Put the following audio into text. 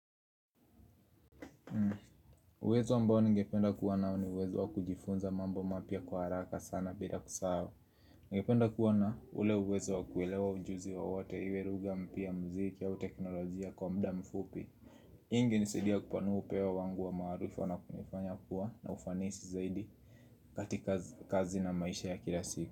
Uwezo ambao ningependa kuwa nao ni uwezo wa kujifunza mambo mapya kwa haraka sana bila kusahau. Ningependa kuwa na ule uwezo wa kuelewa ujuzi wowote iwe lugha mpya muziki au teknolojia kwa muda mfupi. Ingenisaidia kupanua upewa wangu wa maharifa na kunifanya kuwa na ufanisi zaidi katika kazi na maisha ya kila siku.